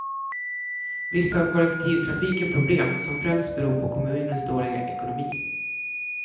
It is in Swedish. Visst har kollektivtrafiken problem, som främst beror på kommunens dåliga ekonomi.